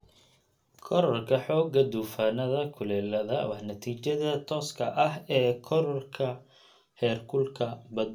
Korodhka xoogga duufaannada kulaaladu waa natiijada tooska ah ee kororka heerkulka badda.